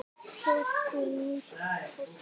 Sjóddu nýtt pasta.